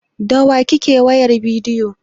Da wa kike wayar bidiyo?